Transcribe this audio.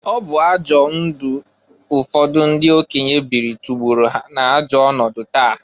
Ọbụ ajọ ndụ ụfọdụ ndị okenye biri tọgbọrọ ha na-ajọ ọnọdụ taa.